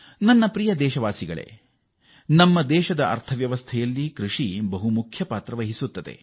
ನನ್ನ ಪ್ರೀತಿಯ ದೇಶವಾಸಿಗಳೇ ಕೃಷಿ ನಮ್ಮ ದೇಶದ ಮೂಲ ಆರ್ಥಿಕತೆಗೆ ಪ್ರಮುಖ ಕೊಡುಗೆ ನೀಡುತ್ತದೆ